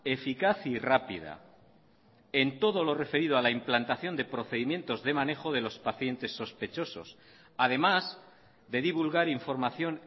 eficaz y rápida en todo lo referido a la implantación de procedimientos de manejo de los pacientes sospechosos además de divulgar información